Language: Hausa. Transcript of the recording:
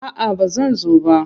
A'a ba zan zo ba.